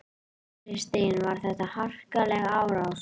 Kristín: Var þetta harkaleg árás?